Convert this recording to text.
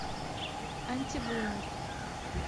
антибумер